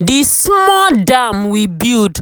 the small dam we build